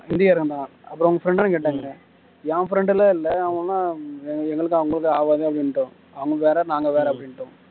ஹிந்தி காரங்க தான் அப்புறம் உன் friend டான்னு கேட்டாங்க என் friend எல்லாம் இல்ல அவனும் எங்களுக்கும் அவனுக்கும் ஆகாது அப்படின்னுட்டோம் அவங்க வேற நாங்க வேற அப்படின்னுட்டோம்